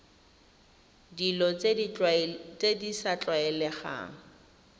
dilo tse di sa tlwaelegang